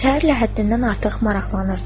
Şəhərlə həddindən artıq maraqlanırdı.